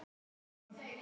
Hennar orð.